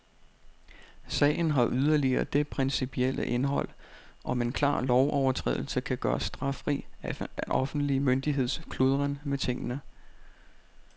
Sagen har yderligere det principielle indhold, om en klar lovovertrædelse kan gøres straffri af en offentlig myndigheds kludren med tingene.